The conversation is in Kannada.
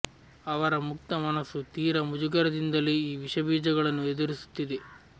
ಅವರ ಮುಕ್ತ ಮನಸ್ಸು ತೀರ ಮುಜುಗರದಿಂದಲೇ ಈ ವಿಷಬೀಜ ಗಳನ್ನು ಎದುರಿಸುತ್ತಿದೆ